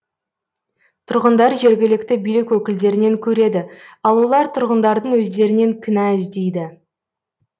тұрғындар жергілікті билік өкілдерінен көреді ал олар тұрғындардың өздерінен кінә іздейді